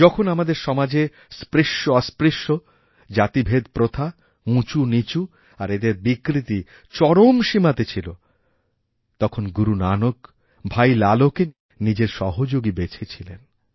যখন আমাদের সমাজে স্পৃশ্যঅস্পৃশ্য জাতিভেদপ্রথাউঁচুনীচু আর এদের বিকৃতি চরম সীমাতে ছিল তখন গুরু নানক ভাই লালোকে নিজেরসহযোগী বেছেছিলেন